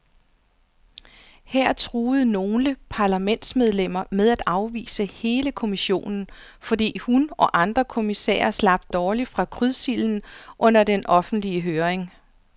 Her truede nogle parlamentsmedlemmer med at afvise hele kommissionen, fordi hun og andre kommissærer slap dårligt fra krydsilden under den offentlige høring.